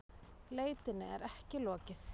Leitinni er ekki lokið